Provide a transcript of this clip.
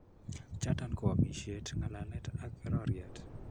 Choton koo omisiet, ng'alalet ak roriot